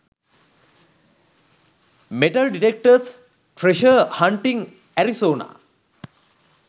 metal detectors treasure hunting arizona